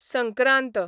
Sankrant